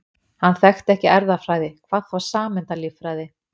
Hann þekkti ekki erfðafræði, hvað þá sameindalíffræði.